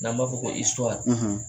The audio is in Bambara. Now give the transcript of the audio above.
N'an b'a fɔ ko